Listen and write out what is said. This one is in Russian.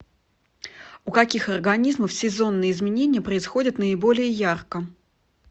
у каких организмов сезонные изменения происходят наиболее ярко